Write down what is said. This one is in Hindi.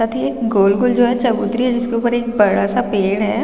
साथ ही एक गोल - गोल जो है चबूतरी है जिसके ऊपर एक बड़ा सा पेड़ है।